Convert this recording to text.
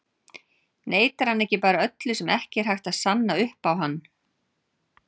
Neitar hann ekki bara öllu sem ekki er hægt að sanna upp á hann?